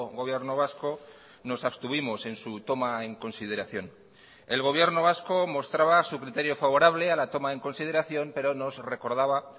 gobierno vasco nos abstuvimos en su toma en consideración el gobierno vasco mostraba su criterio favorable a la toma en consideración pero nos recordaba